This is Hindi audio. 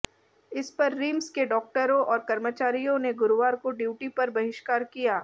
इस पर रिम्स के डॉक्टरों और कर्मचारियों ने गुरुवार को ड्यूटी पर बहिष्कार किया